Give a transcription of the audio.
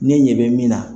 Ne ɲɛ bɛ min na